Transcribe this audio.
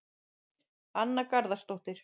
Anna Garðarsdóttir